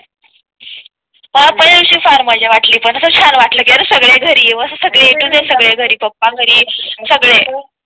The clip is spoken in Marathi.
पहिल्या दिवशी फार मजा वाटली पण छान वाटलं सगळे घरी येऊन सगळे घरी ए तो झेड सगळे घरी पापा घरी सगळे